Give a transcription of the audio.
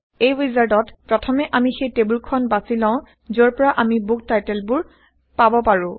এই ৱিজাৰ্ডত প্ৰথমে আমি সেই টেইবল খন বাচি লও যৰ পৰা আমি বুক টাইটেল বোৰ পাব পৰো